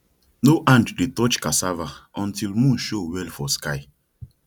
no hand dey touch cassava until moon show well for sky